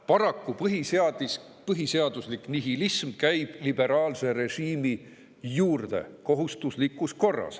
Paraku käib põhiseaduslik nihilism liberaalse režiimi juurde kohustuslikus korras.